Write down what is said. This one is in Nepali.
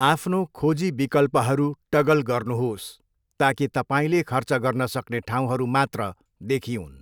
आफ्नो खोजी विकल्पहरू टगल गर्नुहोस् ताकि तपाईँले खर्च गर्न सक्ने ठाउँहरू मात्र देखिऊन्।